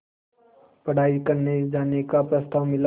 पढ़ाई करने जाने का प्रस्ताव मिला